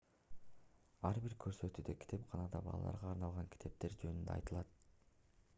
ар бир көрсөтүүдө китепканадагы балдарга арналган китептер жөнүндө айтылат